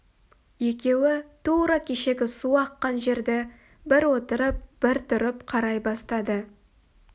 екеуі тура кешегі су аққан жерді бір отырып бір тұрып қарай бастады